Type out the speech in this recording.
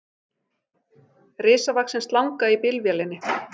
Risavaxin slanga í bílvélinni